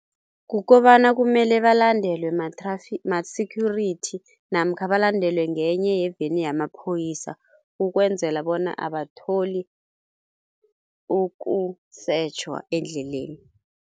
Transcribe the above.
Kukobana kumele balandelwe ma-security namkha balandelwe ngenye yeveni yamaphoyisa ukwenzela bona abatholi ukusetjhwa endleleni.